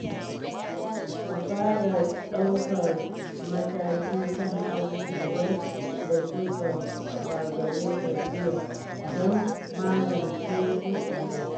Ka fara ɗaukar mataki kan abubuwan da suka gagare ka jiya don magance su a yau.